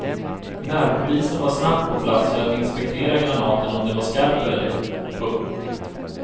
Närpolisen var snabbt på plats för att inspektera granaten om den var skarp eller ej. punkt